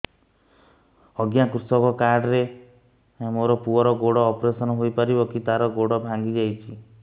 ଅଜ୍ଞା କୃଷକ କାର୍ଡ ରେ ମୋର ପୁଅର ଗୋଡ ଅପେରସନ ହୋଇପାରିବ କି ତାର ଗୋଡ ଭାଙ୍ଗି ଯାଇଛ